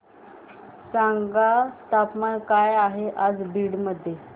सांगा तापमान काय आहे आज बीड मध्ये